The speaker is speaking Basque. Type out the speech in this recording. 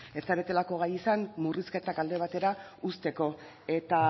ez zaretelako gai izan murrizketak alde batera uzteko eta